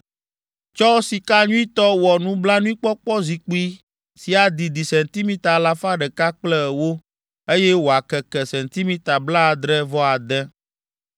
Tsɔ sika nyuitɔ wɔ nublanuikpɔkpɔzikpui si adidi sentimita alafa ɖeka kple ewo, eye wòakeke sentimita blaadre-vɔ-ade.